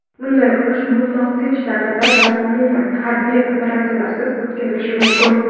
Bunday urush mutlaq tinch davrda va umuman harbiy operatsiyalarsiz o‘tkazilishi mumkin.